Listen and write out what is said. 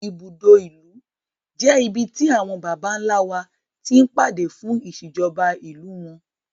Ibùdó ìlú jẹ́ ibi tí àwọn Bàbá ńlá wa ti ń pàdé fún ìṣèjọba ìlú wọn.